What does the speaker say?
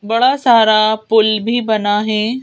बड़ा सारा पुल भी बना है।